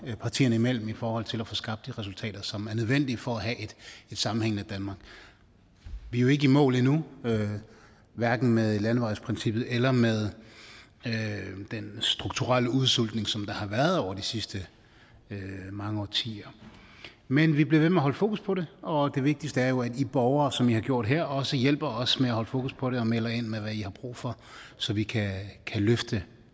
partierne imellem i forhold til at få skabt de resultater som er nødvendige for at have et sammenhængende danmark vi er jo ikke i mål endnu hverken med landevejsprincippet eller med den strukturelle udsultning som der har været over de sidste mange årtier men vi bliver ved med at holde fokus på det og det vigtigste er jo at i borgere som i har gjort her også hjælper os med at holde fokus på det og melder ind med hvad i har brug for så vi kan løfte